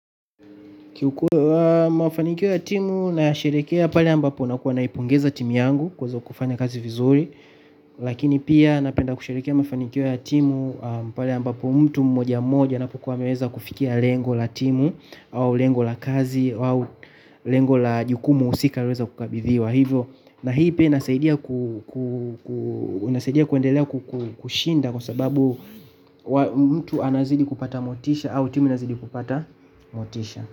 Kiukweli mafanikio ya timu nayasherekea pale ambapo nakuwa naipongeza timu yangu kwanza kwa kuifanya kazi vizuri lakini pia napenda kusherekea mafanikio ya timu pale ambapo mtu mmoja moja anapokuwa ameweza kufikia lengo la timu au lengo la kazi au lengo la jukumu husika alioweza kukabidhiwa hivyo na hii pia inasaidia kuendelea kushinda kwa sababu mtu anazidi kupata motisha au timu anazidi kupata motisha.